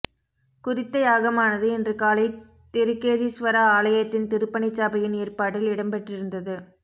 குறித்த யாகமானது இன்று காலை திருக்கேதீஸ்வர ஆலயத்தின் திருப்பணிச்சபையின் ஏற்பாட்டில் இடம்பெற்றிருந்தது